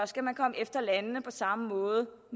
skal man komme efter landene på samme måde